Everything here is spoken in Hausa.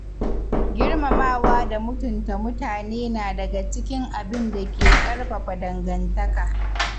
Girmamawa da mutunta mutane na daga cikin abinda ke ƙarfafa dangantaka.